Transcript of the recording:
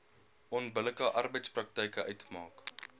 onbillike arbeidspraktyk uitmaak